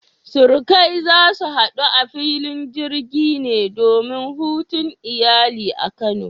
Surukai, za ku hadu a filin jirgi ne domin hutun iyali a kano?